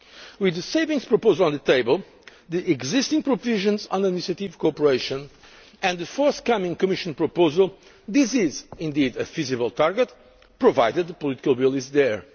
gains. With the savings proposal on the table, the existing provisions on administrative cooperation and the forthcoming Commission proposal, this is indeed a feasible target provided the political will